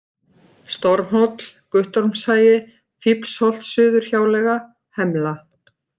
Stormhóll, Guttormshagi, Fíflholtssuðurhjáleiga, Hemla